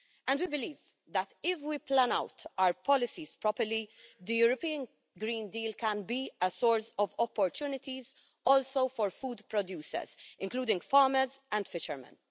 We believe that, if we plan out our policies properly, the European Green Deal can also be a source of opportunities for food producers, including farmers and fishermen.